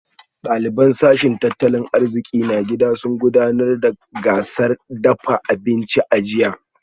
Daliban sashen tattalin arziki na gida sun gudanar da gasar dafa abinci a jiya